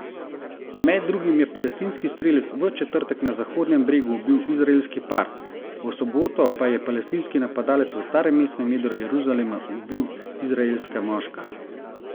Med drugim je palestinski strelec v četrtek na Zahodnem bregu ubil izraelski par, v soboto pa je palestinski napadalec v starem mestnem jedru Jeruzalema ubil izraelska moška.